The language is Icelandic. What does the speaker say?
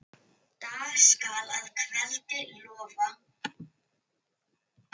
Dag skal að kveldi lofa.